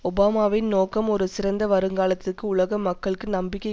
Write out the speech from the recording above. ஒபாமாவின் நோக்கம் ஒரு சிறந்த வருங்காலத்திற்கு உலக மக்களுக்கு நம்பிக்கை